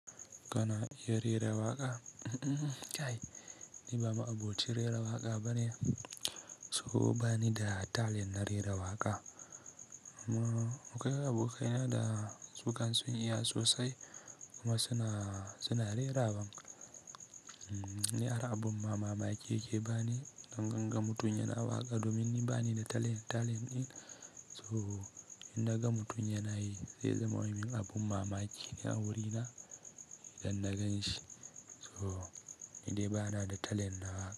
Kana iya rera waƙa? Ai, ni ba ma'abocin rera waƙa bane. So bani da talent na rera waƙa. Mu kai abokaina da sukan sun iya sosai kuma suna, suna rera waƙa. Ni har abin mamaki yake bani in naga mutum yana waƙa domin ni bani da talent, talent ɗin. So idan gam mutum yana yi sai zai ma min abin mamaki a wurina idan na gan shi. So nidai ba na da talent na waƙa.